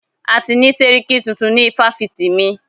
A ti ni sẹ́ríkí tuntun ni ifáfitì mí.